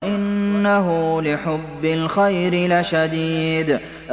وَإِنَّهُ لِحُبِّ الْخَيْرِ لَشَدِيدٌ